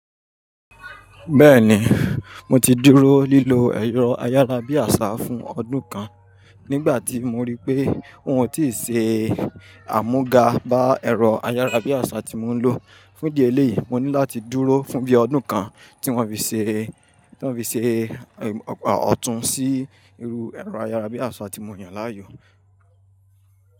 Bẹ́ẹ̀ni, mo ti dúró lílo ẹ̀rọ ayárabíàṣá fún ọdún kan. Nígbà tí mo rí pé wọn ò tí ì ṣe àmúga bá ẹ̀rọ ayárabíàṣá tí mò ń lò fún díẹ̀ lè, mo ní láti dúró fún bí ọdún kan tí wọ́n fi ṣe, tí wọ́n fi ṣe ọ̀tún sí irú ẹ̀rọ ayárabíàṣá tí mo yàn láàyò.